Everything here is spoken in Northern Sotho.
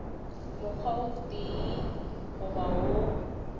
mokgwa o tee goba wo